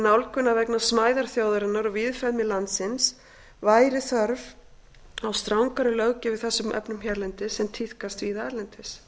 nálgun að vegna smæðar þjóðarinnar og víðfeðmis landsins væri þörf á strangari löggjöf í þessum efnum hérlendis en tíðkast víða erlendis